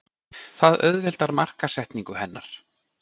Það auðveldar markaðssetningu hennar.